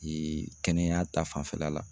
kɛnɛya ta fanfɛla la